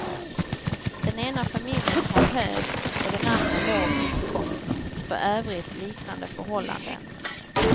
Den ena familjen har hög och den andra låg inkomst, för övrigt liknande förhållanden.